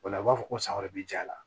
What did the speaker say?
O la u b'a fɔ ko san wɛrɛ bi ja la